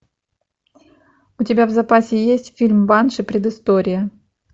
у тебя в запасе есть фильм банши предыстория